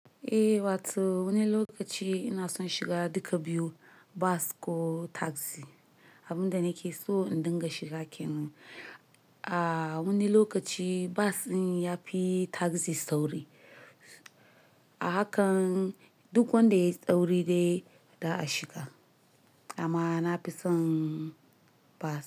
Eh, wato wani lokaci ina son shiga duka biyu bus ko taxi. Abin da nake so in dinga shiga kenan. A wani lokaci bus din yafi taxi sauri. Haka duk wanda yayi sauri dai za'a shiga amma nafi son bus.